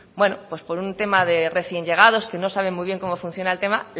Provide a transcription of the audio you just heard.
bueno por un tema de recién llegados que no saben muy bien cómo funciona el tema